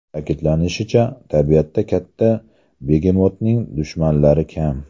Ta’kidlanishicha, tabiatda katta begemotning dushmanlari kam.